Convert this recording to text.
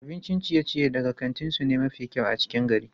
Abincin ciye-ciye daga kantin su ne mafi kyau a cikin gari.